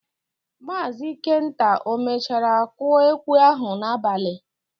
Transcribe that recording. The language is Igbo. Maazị Ikenta o mechara kụọ ekwe ahụ n'abalị?